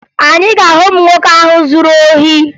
Anyị ga-ahụ ụmụ nwoke ahụ zuru ohi